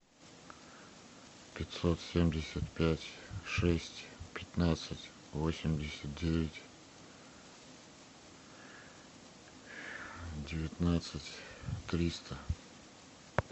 пятьсот семьдесят пять шесть пятнадцать восемьдесят девять девятнадцать триста